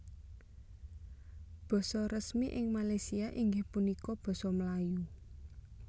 Basa resmi ing Malaysia inggih punika Basa Melayu